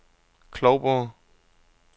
Klovborg